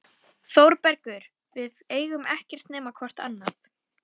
ÞÓRBERGUR: Við eigum ekkert nema hvort annað.